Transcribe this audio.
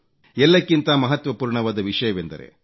ಎಲ್ಲಕ್ಕಿಂತ ಮಹತ್ವಪೂರ್ಣವಾದ ವಿಷಯವೆಂದರೆ ಡಾ